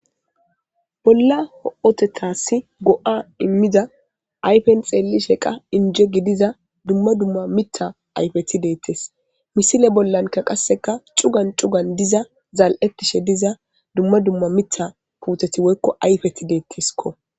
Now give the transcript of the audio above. bolla ho7otethassi go7a immida ayfen xeellisheka inje gidiza dumma dumma mita ayfeti deettes misile bollanka qasseka cugan cugan diza zal7ettishe diza dumma dumma mita puuteti woykko ayfeti deettiskko